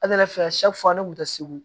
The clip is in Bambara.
A nana fɛ fo an kun tɛ segu